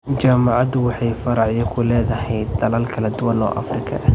Jaamacaddu waxay faracyo ku leedahay dalal kala duwan oo Afrika ah.